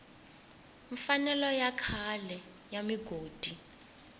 mfanelo ya xikhale ya migodi